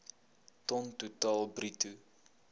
ton totaal bruto